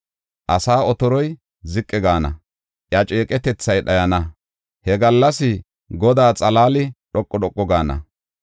Asa otoroy ziqi gaana; iya ceeqetethay dhayana. He gallas Godaa xalaali dhoqu dhoqu gaana.